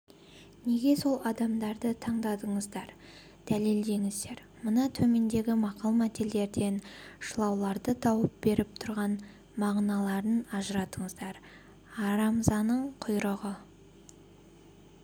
неге сол адамдарды таңдадыңыздар дәлелдеңіздер мына төмендегі мақал-мәтелдерден шылауларды тауып беріп тұрған мағыналарын ажыратыңыздар арамзаның құйрығы